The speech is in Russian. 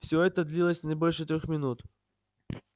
всё это длилось не больше трёх минут